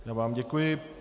Já vám děkuji.